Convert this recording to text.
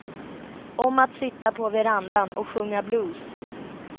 Om att sitta på verandan och sjunga blues.